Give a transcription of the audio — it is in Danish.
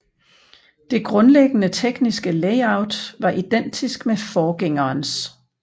Det grundlæggende tekniske layout var identisk med forgængerens